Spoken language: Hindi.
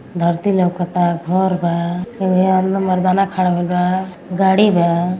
धरती लउकता। घर बा एगो। हे हाथ में मरदाना खड़ा भइल बा। गाड़ी बा।